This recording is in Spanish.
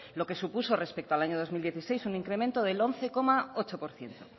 lo que supuso respecto al año dos mil dieciséis un incremento del once coma ocho por ciento